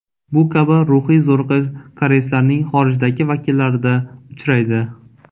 Bu kabi ruhiy zo‘riqish koreyslarning xorijdagi vakillarida uchraydi.